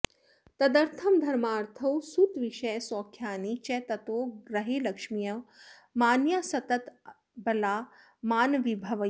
तदर्थं धर्मार्थौ सुतविषयसौख्यानि च ततो गृहे लक्ष्म्यो मान्याः सततमबला मानविभवैः